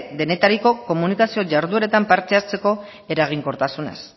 denetariko komunikazio jardueretan parte hartzeko eraginkortasunez